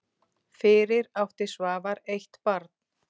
Fyrir átti Svavar eitt barn.